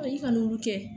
I ka n'olu kɛ